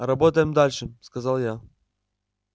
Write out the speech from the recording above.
работаем дальше сказал я